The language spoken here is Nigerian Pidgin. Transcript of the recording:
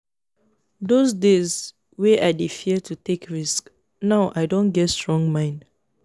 those days wey i dey fear to take risk now i don get strong mind